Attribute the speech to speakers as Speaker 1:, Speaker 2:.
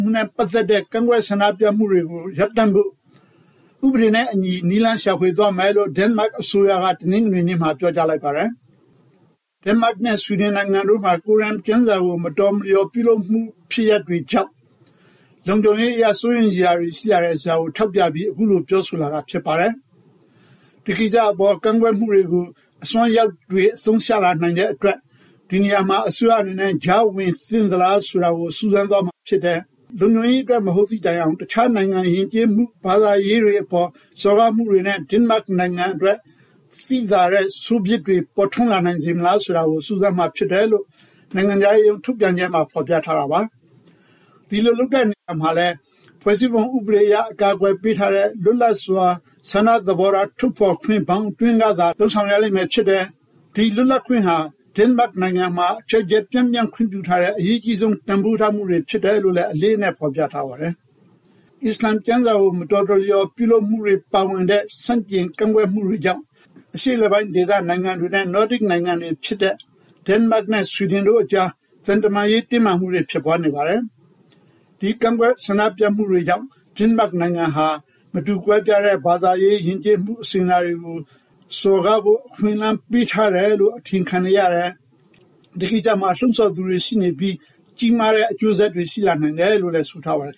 Speaker 1: မှုနဲ့ပတ်သက်တဲ့ကန့်ကွက်ဆန္ဒပြမှုတွေကိုရပ်တန့်ဖို့ ဥပဒေနဲ့အညီ နည်းလမ်းရှာဖွေသွားမယ်လို့ ဒိန်းမတ်အစိုးရက တနင်္ဂနွေနေ့မှာ ပြောကြားလိုက်ပါတယ်။ ဒိန်းမတ်နဲ့ဆွီဒင်နိုင်ငံတို့မှာ ကိုရမ်ကျမ်းစာကို မတော်မလျော်ပြုလုပ်မှုဖြစ်ရပ်တွေကြောင့် လုံခြုံရေးအရ စိုးရိမ်စရာတွေရှိလာတယ်ဆိုတာကို ထောက်ပြပြီး အခုလို ပြောဆိုလာာဖြစ်ပါတယ်။ ဒီကိစ္စအပေါ်ကန့်ကွက်မှုတွေကို အစွန်းရောက်တွေအသုံးချလာနိုင်တဲ့အတွက် ဒီနေရာမှာ အစိုးရအနေနဲ့ကြားဝင်သင့်သလားဆိုတာကို စူးစမ်းသွားမှာဖြစ်တယ်၊ လုံခြုံရေးအတွက် မဟုတ်သည့်တိုင်အောင် တခြားနိုင်ငံယဥ်ကျေးမှုနဲ့ဘာသာရေးတွေအပေါ် စော်ကားမှုတွေနဲ့ ဒိန်းမတ်နိုင်ငံအတွက် သိသာတဲ့ဆိုးပြစ်တွေပေါ်ထွန်းလာစေနိုင်မလားဆိုတာကို စူးစမ်းမှာဖြစ်တယ်လို့ နိုင်ငံခြားရေးရုံးထုတ်ပြန်ချက်မှာ ဖော်ပြထားတာပါ။ ဒီလိုလုပ်တဲ့နေရာမှာလည်း ဖွဲ့စည်းပုံဥပဒေအရ အကာကွယ်ပေးထားတဲ့ လွတ်လပ်စွာဆန္ဒသဘောထားထုတ်ဖေါ်ခွင့် ဘောင်အတွင်းကသာ လုပ်ဆောင်ရလိမ့်မှာဖြစ်တယ်၊ ဒီလွတ်လပ်ခွင့်ဟာ ဒိန်းမတ်နိုင်ငံမှာ ကျယ်ကျယ်ပြန့်ပြန့်ခွင့်ပြုထားတဲ့ အရေးအကြီးဆုံး တန်ဖိုးထားမှုတွေဖြစ်တယ်လို့လည်း အလေးအနက် ဖော်ပြထားပါတယ်။ အစ္စလာမ်ကျမ်းစာကို မတော်တရော်ပြုလုပ်မှုတွေပါဝင်တဲ့ ဆန့်ကျင်ကန့်ကွက်မှုတွေကြောင့် အရှေ့အလယ်ပိုင်းဒေသနိုင်ငံတွေနဲ့ နော်ဒစ်နိုင်ငံနှစ်ခုဖြစ်တဲ့ ဒိန်းမတ်နဲ့ဆွီဒင်နိုင်ငံတို့ကြား သံတမန်ရေးတင်းမာမှုတွေ ဖြစ်ပွါးနေပါတယ်။ ဒီကန့်ကွက် ဆန္ဒပြမှုတွေကြောင့် ဒိန်းမတ်နိုင်ငံဟာ မတူကွဲပြားတဲ့ဘာသာရေး ယဥ်ကျေးမှုအစဥ်အလာတွေကိုစော်ကားဖို့ အခွင့်အလမ်းပေးထားတယ်လို့ အထင်ခံနေရတယ်၊ ဒီကိစ္စမှာ လှုံ့ဆော်သူတွေရှိနေပြီး ကြီးမားတဲ့အကျိုးဆက်တွေ ရှိလာနိုင်တယ်လို့လည်း ဆိုထားပါတယ်